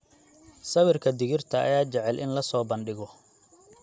Sawirka digirta ayaa jecel in la soo bandhigo.